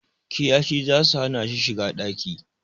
Kiyashih zasu hana shi shiga ɗaki